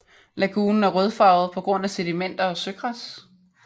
Lagunen er rødfarvet på grund af sedimenter og søgræs